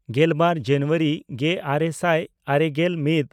ᱜᱮᱞᱵᱟᱨ ᱡᱟᱱᱩᱣᱟᱨᱤ ᱜᱮᱼᱟᱨᱮ ᱥᱟᱭ ᱟᱨᱮᱜᱮᱞ ᱢᱤᱫ